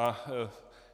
A